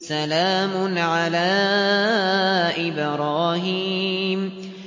سَلَامٌ عَلَىٰ إِبْرَاهِيمَ